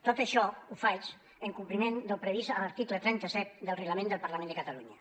tot això ho faig en compliment del previst a l’article trenta set del reglament del parlament de catalunya